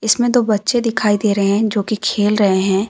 इसमें दो बच्चे दिखाई दे रहे हैं जो कि खेल रहे हैं।